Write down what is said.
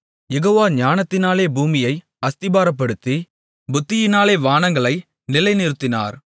யெகோவா ஞானத்தினாலே பூமியை அஸ்திபாரப்படுத்தி புத்தியினாலே வானங்களை நிலைநிறுத்தினார்